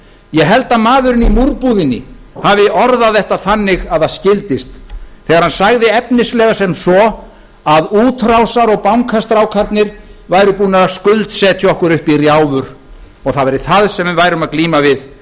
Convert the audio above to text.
ég held að maðurinn í múrbúðinni hafi orðað þetta þannig að það skildist þegar hann sagði efnislega sem svo að útrásar og bankastrákarnir væru búnir að skuldsetja okkur upp í rjáfur og það væri það sem við værum að glíma við